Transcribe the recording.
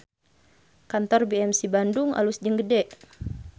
Kantor BMC Bandung alus jeung gede